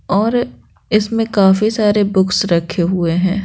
और इसमें काफी सारे बुक्स रखे हुए हैं।